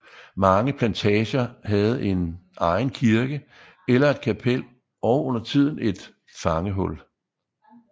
Mange plantager havde en egen kirke eller et kapel og undertiden et fangehul